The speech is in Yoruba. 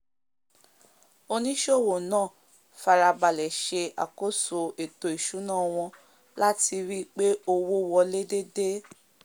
onísòwò náà farabalẹ̀ se àkóso ètò ìsúná wọn lati ríi pé owó wolé déédé